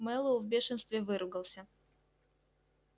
мэллоу в бешенстве выругался